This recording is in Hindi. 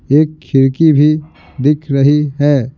एक खिड़की भी दिख रही है।